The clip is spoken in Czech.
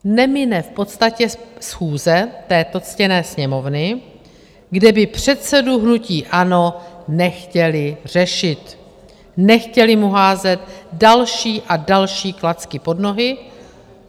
Nemine v podstatě schůze této ctěné Sněmovny, kde by předsedu hnutí ANO nechtěli řešit, nechtěli mu házet další a další klacky pod nohy.